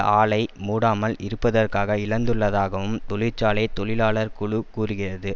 ஆலை மூடாமல் இருப்பதற்காக இழந்துள்ளதாகவும் தொழிற்சாலை தொழிலாளர் குழு கூறுகிறது